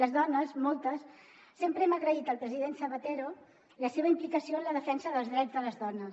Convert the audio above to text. les dones moltes sempre hem agraït al president zapatero la seva implicació en la defensa dels drets de les dones